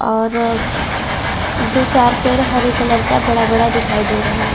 और दो चार पेड़ हरे कलर का बड़ा-बड़ा दिखाई दे रहा है।